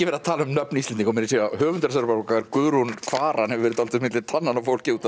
talað um nöfn Íslendinga og höfundur þessarar bókar Guðrún Kvaran hefur verið dálítið á milli tannanna á fólki út